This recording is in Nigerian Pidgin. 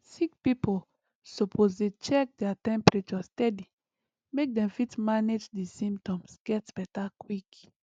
sick pipo suppose dey check their temperature steady make dem fit manage di symptoms get beta quick